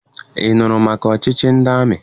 Ị nụrụ maka ọchịchị ndị amị?